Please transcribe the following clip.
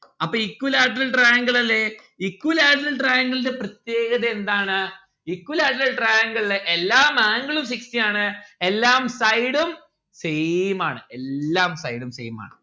അപ്പൊ equilateral triangle അല്ലെ equilateral triangle ന്റെ പ്രത്യേകത എന്താണ്? equilateral triangle ലെ എല്ലാ angle ഉം sixty ആണ്. എല്ലാ side ഉം same ആണ്. എല്ലാം side ഉം same ആണ്.